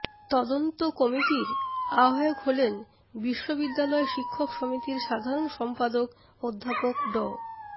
তদন্ত কমিটির আহ্বায়ক হলেন বিশ্ববিদ্যালয় শিক্ষক সমিতির সাধারণ সমপাদক অধ্যাপক ড